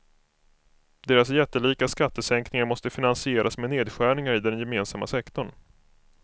Deras jättelika skattesänkningar måste finansieras med nedskärningar i den gemensamma sektorn.